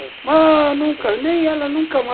Nem ela nunca mais